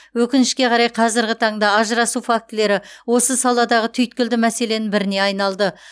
өкінішке қарай қазіргі таңда ажырасу фактілері осы саладағы түйткілді мәселенің біріне айналды